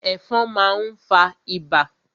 Ẹ̀fọn má n fa ibà.